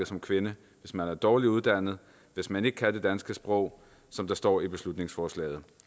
som kvinde hvis man er dårligt uddannet hvis man ikke kan det danske sprog som der står i beslutningsforslaget